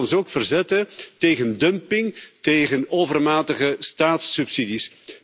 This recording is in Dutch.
Laten we ons ook verzetten tegen dumping en tegen overmatige staatssubsidies.